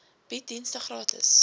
bied dienste gratis